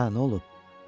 Hə, nə olub?